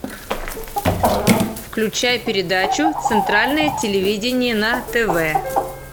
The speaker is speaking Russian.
включай передачу центральное телевидение на тв